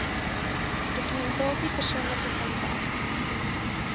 dokumentasie persoonlike kontak